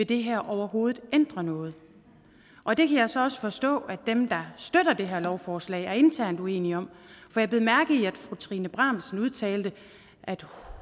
det her overhovedet vil ændre noget og det kan jeg så forstå at dem der støtter det her forslag internt er uenige om for jeg bed mærke i at fru trine bramsen udtalte at